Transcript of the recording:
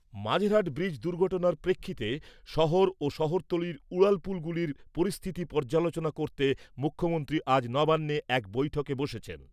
মাঝেরহাট ব্রিজে দুর্ঘটনার প্রেক্ষিতে শহর শহরতলির উড়ালপুলগুলির পরিস্থিতি পর্যালোচনা করতে মুখ্যমন্ত্রী আজ নবান্নে এক বৈঠকে বসছেন।